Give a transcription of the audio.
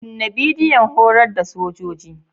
Kunna bidiyon horar da sojoji.